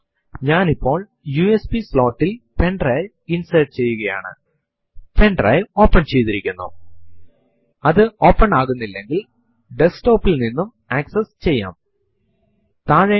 ഒരിക്കൽ ഡയറക്ടറി യെ പറ്റി മനസിലാക്കിയാൽ പിന്നെ ആ ഡയറക്ടറി ൽ ഉള്ള files കളെയൂം സബ് directory കളെയൂം പറ്റി അറിയാൻ നമ്മൾ ആഗ്രഹിക്കുംഇതിനു വേണ്ടി നമുക്ക് എൽഎസ് കമാൻഡ് ഉപയോഗിക്കാം